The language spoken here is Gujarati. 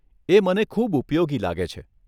એ મને ખૂબ ઉપયોગી લાગે છે.